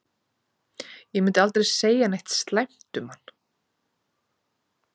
Ég myndi aldrei segja neitt slæmt um hann.